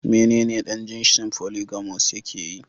Menene dan jinsin "Polygamous " yakeyi.